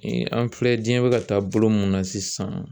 an filɛ diɲɛ bɛ ka taa bolo mun na sisan